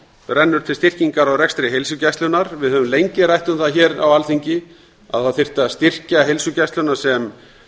rennur til styrkingar á rekstri heilsugæslunnar við höfum lengi rætt um það á alþingi að það þyrfti að styrkja heilsugæsluna sem